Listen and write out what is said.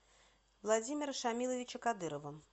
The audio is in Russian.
владимира шамиловича кадырова